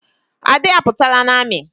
Ade à pụtara n'ami